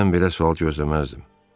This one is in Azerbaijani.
Sizdən belə sual gözləməzdim.